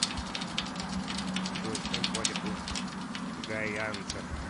джой чем платят у гайанцев